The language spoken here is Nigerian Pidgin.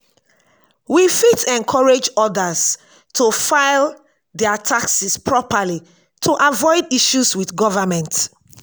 we fit encourage others to file their taxes properly to avoid issues with government.